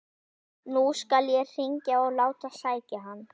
Nú skal ég hringja og láta sækja hann.